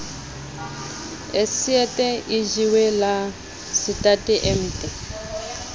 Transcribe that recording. otsjet ejiwe la setate emte